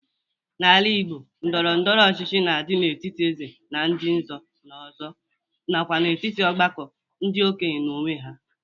N'ala Igbo ndọrọndọrọ ọchịchị na-adị n'etiti Eze na ndị nze na ọzọ, nakwa n'etiti ọgbakọ ndị okenye n'onwe ha.